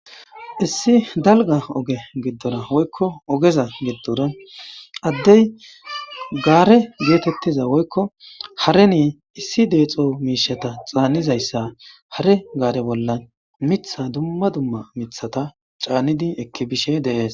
Issi dalga oge giddora woykko ogeza giddora addey gaare geetettiza woykko hareni issi deexo miishata xaannizayssa hare gaare bolla mitha dumma dumma mithata caannidi ekkibishe deees.